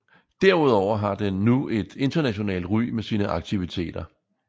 Derudover har den nu et internationalt ry med sine aktiviteter